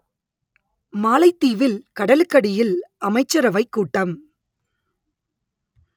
மாலைதீவில் கடலுக்கடியில் அமைச்சரவைக் கூட்டம்